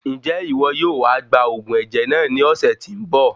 Njẹ iwọ yóò wá gba òògùn ẹ̀jẹ̀ náà ní ọ̀sẹ̀ tí nbọ?